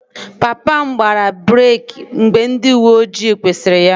Papa m gbara breeki mgbe ndị uwe ojii kwụsịrị ya